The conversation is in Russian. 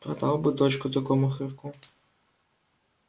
продал бы дочку такому хорьку